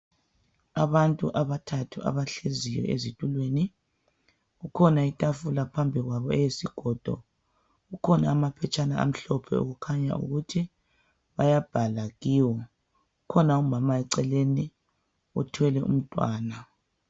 Abantu abathathu abahleziyo ezitulweni, kukhona itafula phambi kwabo eyisigodo kukhona amaphetshana amhlophe okukhanya ukuthi bayabhala kiwo kukhona umama eceleni othwele umntwana.